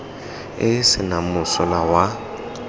e e senang mosola wa